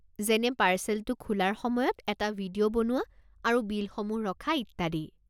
যেনে পাৰ্চেলটো খোলাৰ সময়ত এটা ভিডিঅ' বনোৱা আৰু বিলসমূহ ৰখা, ইত্যাদি।